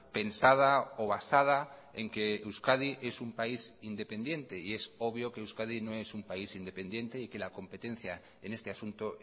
pensada o basada en que euskadi es un país independiente y es obvio que euskadi no es un país independiente y que la competencia en este asunto